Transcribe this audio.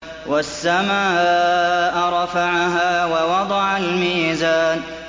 وَالسَّمَاءَ رَفَعَهَا وَوَضَعَ الْمِيزَانَ